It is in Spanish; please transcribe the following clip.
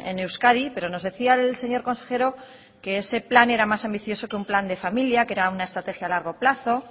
en euskadi pero nos decía el señor consejero que ese plan era más ambicioso que un plan de familia que era una estrategia a largo plazo